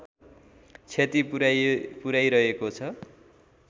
क्षति पुर्‍याइरहेको छ